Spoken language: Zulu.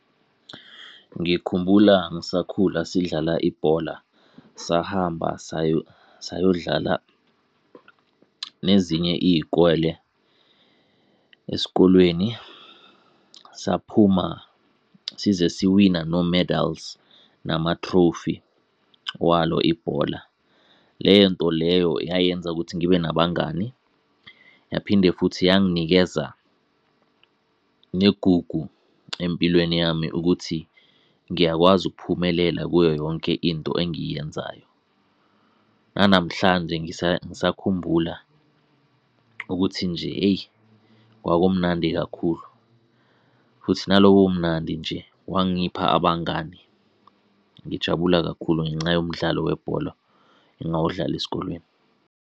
Ngikhumbula ngisakhula sidlala ibhola, sahamba sayo dlala nezinye iy'kole. Esikolweni saphuma size siwina no-medals nama-trophy walo ibhola. Lento leyo yayenza ukuthi ngibe nabangani, yaphinde futhi yanginikeza negugu empilweni yami ukuthi ngiyakwazi ukuphumelela kuyo yonke into engiyenzayo. Nanamhlanje ngisakhumbula ukuthi nje eyi kwakumnandi kakhulu. Futhi nalobo bumnandi nje wangipha abangani. Ngijabula kakhulu ngenxa yomdlalo webhola engawudlala esikolweni.